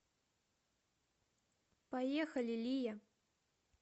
поехали лия